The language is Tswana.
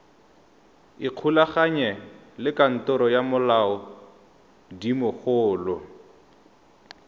ikgolaganye le kantoro ya molaodimogolo